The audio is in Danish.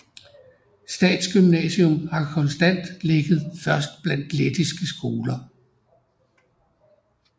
Statsgymnasium har konstant ligget først blandt lettiske skoler